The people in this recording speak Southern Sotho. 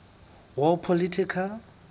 war political